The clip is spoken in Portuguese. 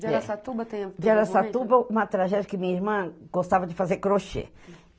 De Araçatuba tem... De Araçatuba uma tragédia que minha irmã gostava de fazer crochê.